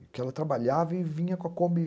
Porque ela trabalhava e vinha com a Kombi.